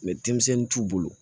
denmisɛnnin t'u bolo